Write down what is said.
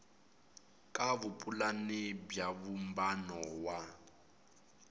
ka vupulani bya vumbano wa